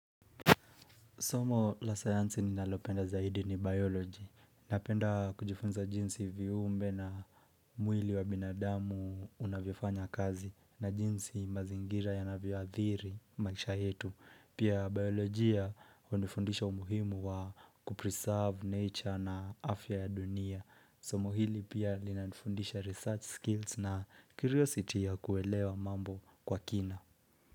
Somo la science ni nalopenda zaidi ni biology. Napenda kujifunza jinsi viumbe na mwili wa binadamu unavyofanya kazi na jinsi mazingira yanavyo adhiri maisha yetu. Pia biology ya unifundisha umuhimu wa kupreserve nature na afya ya dunia. Somo hili pia linanifundisha research skills na curiosity ya kuelewa mambo kwa kina.